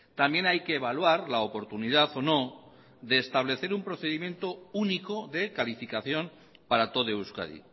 también hay que evaluar la oportunidad o no de establecer un procedimiento único de calificación para todo euskadi